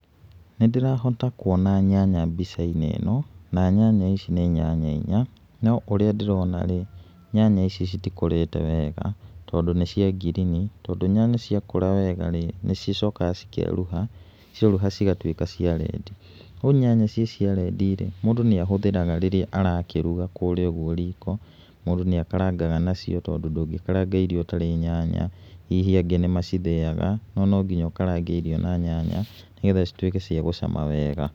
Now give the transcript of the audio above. Nĩ ndĩrahota kuona nyanya mbica-inĩ ĩno, na nyanya ici nĩ nyanya inya, no ũrĩa ndĩrona rĩ, nyanya ici citikũrĩte wega, tondũ nĩ cia ngirini, tondũ nyanya cia kũra wega nĩ cicokaga cikerũha, cierũha cigatuĩka ia rendi. Rĩu nyanya ici cia rendi rĩ, mũndũ nĩ ahũthĩraga rĩrĩa arakĩruga kũrĩa ũguo riko, mũndũ nĩakarangaga nacio tondũ ndũngĩkaranga irio ũtarĩ nyanya. Hihi angĩ nĩ macithĩaga no no nginya ũkarange irio na nyanya nĩ getha cituĩke cia gũcama wega.